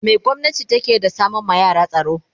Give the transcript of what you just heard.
me gwamnati takeyi da sama ma yara tsaro